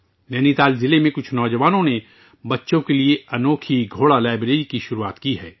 نینی تال ضلع کے کچھ نوجوانوں نے بچوں کے لیے ایک انوکھی گھوڑا لائبریری شروع کی ہے